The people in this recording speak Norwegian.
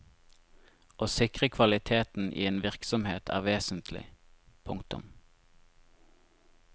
Å sikre kvaliteten i en virksomhet er vesentlig. punktum